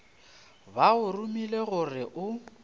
ba go romile gore o